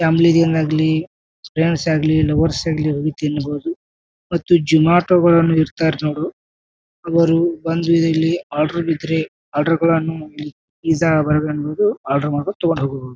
Family ಜನ್ ಆಗ್ಲಿ friends ಆಗ್ಲಿ ಲವರ್ಸ್ ಆಗ್ಲಿ ಹೋಗಿ ತಿನ್ನಬಹುದು ಮತ್ತು ಜುಮಾಟೊಗಳನ್ನೂ ಇರತ್ರ್ ನೋಡು ಅವರು ಬಂದು ಇಲ್ಲಿ ಆರ್ಡರ್ ಇದ್ರೆ ಆರ್ಡರ್ ಗಳನ್ನೂ ಇಲ್ಲಿ ಪಿಜ್ಜಾ ಬರ್ಗರ್ ಅನ್ನದು ಆರ್ಡರ್ ಮಾಡಿಕೊಂಡ್ ತೊಕೊಂಡ್ ಹೋಗಬಹುದು.